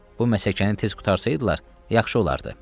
Bu məsələni tez qurtarsaydılar yaxşı olardı.